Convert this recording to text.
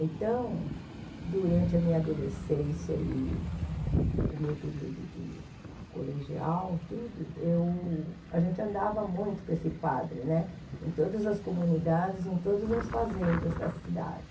Então, durante a minha adolescência e o meu período de colegial tudo eu, a gente andava muito com esse padre né, em todas as comunidades, em todas as fazendas da cidade.